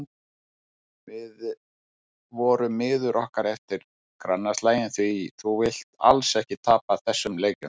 Við vorum miður okkur eftir grannaslaginn því þú vilt alls ekki tapa þessum leikjum.